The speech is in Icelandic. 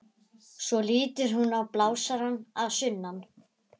Svo lítur hún á blásarann að sunnan.